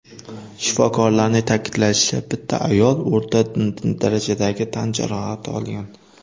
Shifokorlarning ta’kidlashicha, bitta ayol o‘rta darajadagi tan jarohati olgan.